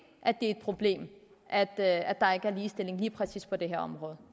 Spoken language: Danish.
er et problem at at der ikke er ligestilling lige præcis på det her område